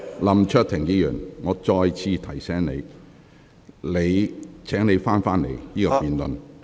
林卓廷議員，我再次提醒你，請你返回這項辯論的議題。